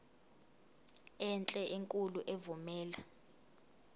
enhle enkulu evumela